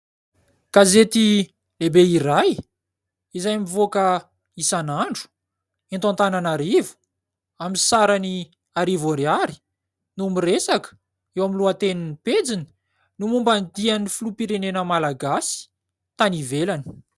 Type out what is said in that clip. Gazety lehibe iray izay mivoaka isan'andro eto Antananarivo amin'ny sarany arivo Ariary no miresaka eo amin'ny lohatenin'ny pejiny ny momban'ny dia an'ny Filoham-pirenena Malagasy tany ivelany.